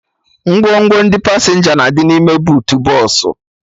Ngwongwo ndị pasenja na-adị n'ime buutu bọsụ